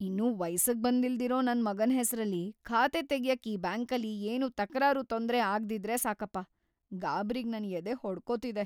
ಇನ್ನೂ ವಯ್ಸಿಗ್‌ ಬಂದಿಲ್ದೆರೋ ನನ್ ಮಗನ್ ಹೆಸ್ರಲ್ಲಿ ಖಾತೆ ತೆಗ್ಯಕ್ಕೆ ಈ ಬ್ಯಾಂಕಲ್ಲಿ ಏನೂ ತಕರಾರು, ತೊಂದ್ರೆ ಆಗ್ದಿದ್ರೆ ಸಾಕಪ್ಪ! ಗಾಬ್ರಿಗ್‌ ನನ್ ಎದೆ ಹೊಡ್ಕೊತಿದೆ.